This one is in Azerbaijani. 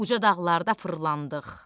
Uca dağlarda fırlandıq.